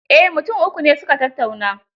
Eh, mutum uku ne su ka tattauna.